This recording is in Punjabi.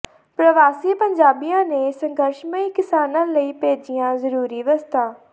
ਪ੍ਰਵਾਸੀ ਪੰਜਾਬੀਆਂ ਨੇ ਸੰਘਰਸ਼ਮਈ ਕਿਸਾਨਾਂ ਲਈ ਭੇਜੀਆਂ ਜ਼ਰੂਰੀ ਵਸਤਾਂ